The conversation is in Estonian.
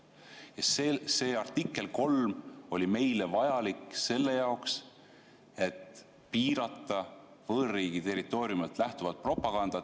Ja see artikkel 3 oli meile vajalik selle jaoks, et piirata võõrriigi territooriumilt lähtuvat propagandat.